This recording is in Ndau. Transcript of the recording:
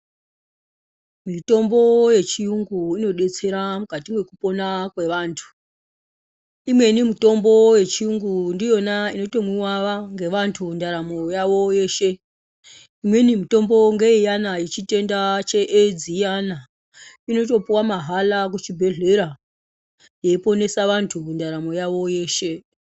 Mitombo yechiyungu inodetsera mwukati mwekupona kwevantu. Imweni mitombo yechiyungu ndiyona inotomwiwa ngevantu ndaramo yavo yeshe. Imweni mitombo ngeiyana yechitenda cheEdzi iyana. Inotopuwa mahala kuchibhedhlera, yeiponesa vantu mundaramo yavo yeshe.